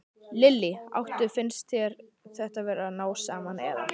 Lillý: Áttu, finnst þér þið vera að ná saman, eða?